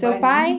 Seu pai?